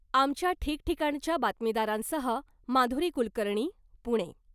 आमच्या ठिकठिकाणच्या बातमीदारांसह , माधुरी कुलकर्णी , पुणे .